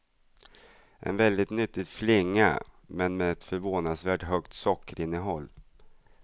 En väldigt nyttig flinga, men med ett förvånansvärt högt sockerinnehåll.